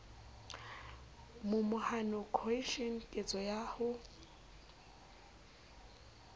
momahano cohesion ketso ya ho